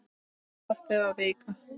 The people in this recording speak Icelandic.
Stoppið var vika.